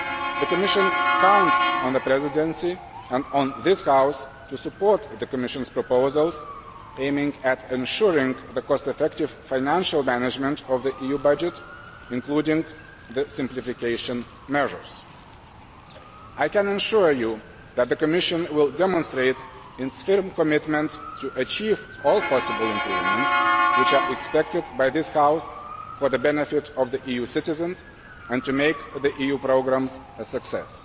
The Commission counts on the Presidency and on this House to support the Commission's proposals aimed at ensuring the cost effective financial management of the EU budget, including the simplification measures. I can assure you that the Commission will demonstrate its firm commitment to achieving all possible improvements which are expected by this House, for the benefit of EU citizens, and to making the EU programmes a success.